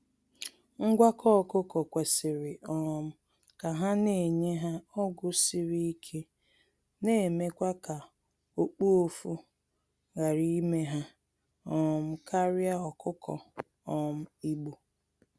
Ngwakọ ọkụkọ kwesịrị um ka ha na enye ha ọgụ siri ike na emekwa ka okpuofu ghara ime ha um karịa ọkụkọ um igbo.